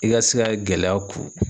I ka se ka gɛlɛya ku.